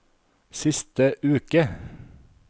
siste uke